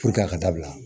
a ka dabila